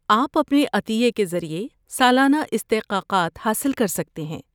آپ اپنے عطیے کے ذریعے سالانہ استحقاقات حاصل کر سکتے ہیں۔